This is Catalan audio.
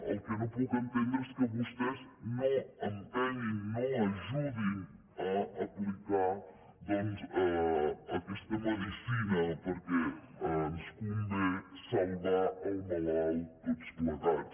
el que no puc entendre és que vostès no empenyin no ajudin a aplicar doncs aquesta medicina perquè ens convé salvar el malalt tots plegats